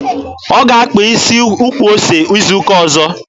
Ọ ga-akpa isi ukwu ose izu ụka ọzọ.